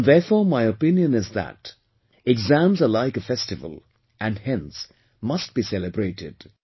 And therefore my opinion is that exams are like a festival and, hence, must be celebrated